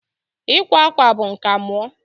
Ịkwa akwa bụ nka mụọ.